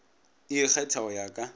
e ikgetha go ya ka